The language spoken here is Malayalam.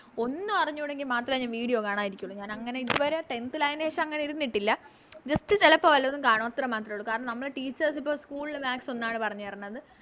ഒന്നും അറിഞ്ഞൂടെങ്കി മാത്രേ ഞാൻ Video കാണാനിരിക്കൂള് ഞാനങ്ങനെ ഇതുവരെ Tenth ല് അയേന് ശേഷം അങ്ങനെ ഇരുന്നിട്ടില്ല Just ചെലപ്പോ വല്ലതും കാണും അത്ര മാത്രേ ഒള്ളു കാരണം നമ്മള് Teachers ഇപ്പൊ School maths ഒന്നാണ് പറഞ്ഞേരണത്